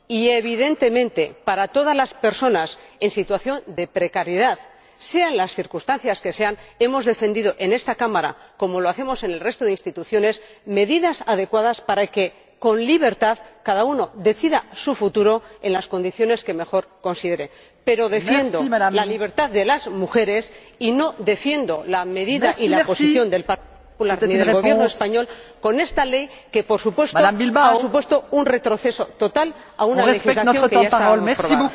Y, evidentemente, para todas las personas en situación de precariedad, sean las circunstancias que sean, hemos defendido en esta Cámara ―como hacemos en el resto de las instituciones― medidas adecuadas para que, con libertad, cada uno decida su futuro en las condiciones que mejor considere. Pero defiendo la libertad de las mujeres y no defiendo la medida y la posición del Partido Popular ni del Gobierno español con esta ley que, sin duda, ha supuesto un retroceso total con respecto a una legislación que ya estaba aprobada.